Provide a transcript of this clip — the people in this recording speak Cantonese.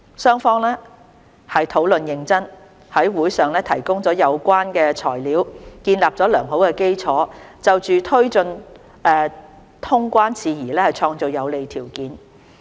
雙方討論認真，在會上提供了有關的材料，建立了良好基礎，就推進通關事宜創造有利條件。